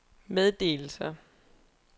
meddelelser